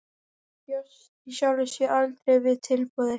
Hann bjóst í sjálfu sér aldrei við tilboði.